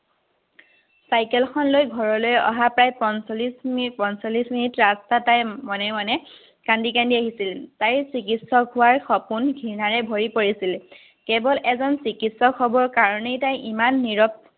চাইকেলখনলৈ ঘৰলৈ অহা প্ৰায় পঞ্চল্লিছ মিনিট পঞ্চল্লিছ মিনিট ৰাস্তাৰপৰাই মনে মনে কান্দি কান্দি আহিছিল। তাইৰ চিকিত্সক হোৱাৰ সপোন ঘৃণাৰে ভৰি পৰিছিল। কেৱল এজন চিকিত্সক হ'বৰ কাৰণেই তাই ইমান নিৰৱ